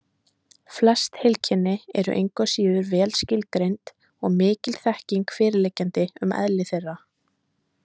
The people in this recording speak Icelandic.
Flest heilkenni eru engu að síður vel skilgreind og mikil þekking fyrirliggjandi um eðli þeirra.